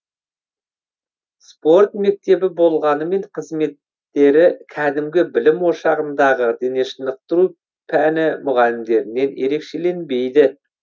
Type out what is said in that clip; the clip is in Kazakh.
спорт мектебі болғанымен қызметтері кәдімгі білім ошағындағы денешынықтыру пәні мұғалімдерінен ерекшеленбейді